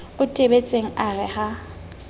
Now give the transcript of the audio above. o tebetseng a re ha